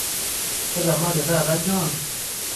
Ketamade taata John